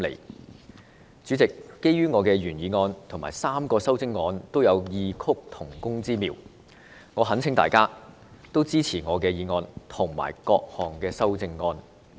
代理主席，基於我的原議案及3項修正案都有異曲同工之妙，我懇請大家支持我的議案及各項修正案。